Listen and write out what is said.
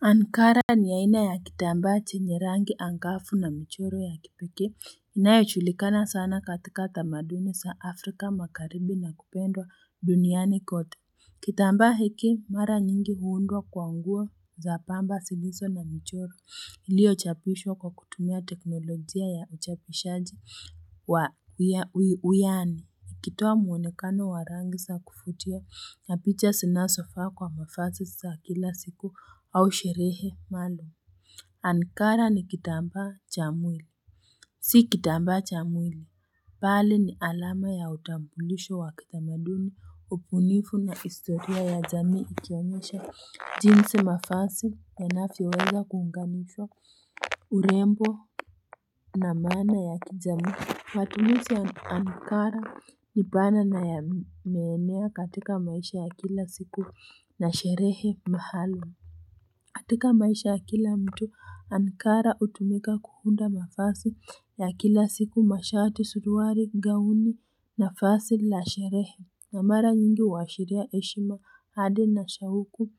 Ankara ni aina ya kitamba chenye rangi angafu na michoro ya kipeke inayojulikana sana katika tamaduni sa afrika makaribi na kupendwa duniani kote Kitamba hiki mara nyingi huundwa kwa nguo za pamba zilizo na michoro iliyochapishwa kwa kutumia teknolojia ya uchapishaji wa uyani ikitoa muonekano wa rangi sa kuvutia na picha sinasofa kwa mafasi sa kila siku au sherehe mando. Ankara ni kitamba cha mwili. Si kitamba cha mwili bali ni alama ya utambulisho wa kitamaduni Upunifu na istoria ya jamiu ikionyesha jinsi mafasi yanavyoweza kungamishwa urembo na mana ya kijami Matumisi ya Ankara ni banana ya meenea katika maisha ya kila siku na sherehe mahalo katika maisha ya kila mtu Ankara utumika kuhunda mafasi ya kila siku mashati suruari gauni na fasi la sherehe na mara nyingi uashiria eshima hadi na shauku